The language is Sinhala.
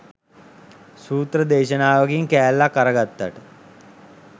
සුත්‍ර දේශනාවකින් කෑල්ලක් අරගත්තට